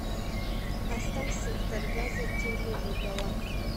поставь сектор газа черный вурдалак